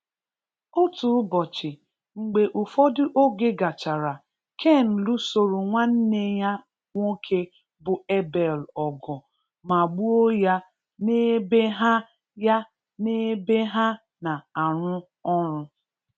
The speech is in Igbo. Otu ụbọchị, mgbe ụfọdụ oge gachara Cain lụsoro nwanne ya nwoke bụ Abel ọgụ ma gbuo ya n'ebe ha ya n'ebe ha na arụ ọrụ.